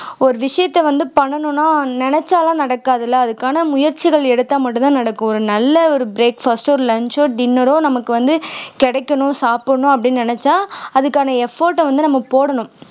ஒரு விஷயத்த வந்து பண்ணனும்னா நினைச்சாலும் நடக்காது இல்ல அதுக்கான முயற்சிகள் எடுத்த மட்டும்தான் நடக்கும் ஒரு நல்ல ஒரு breakfast ஓ ஒரு lunch ஓ dinner ஓ நமக்கு வந்து கிடைக்கணும் சாப்பிடணும் அப்படின்னு நினைச்சா அதுக்கான effort அ வந்து நம்ம போடணும்